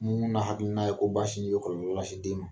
Mun na hakilina ye ko ba sin be kɔlɔlɔ lase den ma?